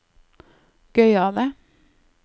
gøyale